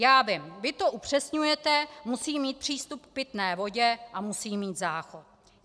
Já vím, vy to upřesňujete: musí mít přístup k pitné vodě a musí mít záchod.